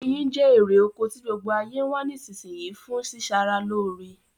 Oyin je erè oko ti gbogbo ayé n wa ni isínsinyí fun si sara lóre